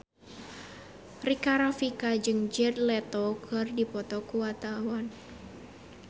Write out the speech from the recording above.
Rika Rafika jeung Jared Leto keur dipoto ku wartawan